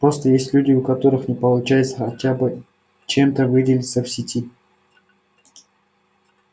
просто есть люди у которых не получается хотя бы чем-то выделиться в сети